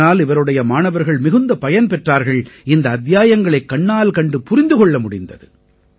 இதனால் இவருடைய மாணவர்கள் மிகுந்த பயன் பெற்றார்கள் இந்த அத்தியாயங்களைக் கண்ணால் கண்டு புரிந்து கொள்ள முடிந்தது